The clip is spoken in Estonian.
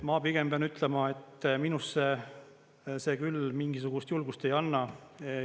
Ma pigem pean ütlema, et minusse see küll mingisugust julgust ei anna.